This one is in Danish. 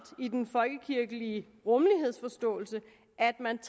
i den folkekirkelige rummelighedsforståelse at man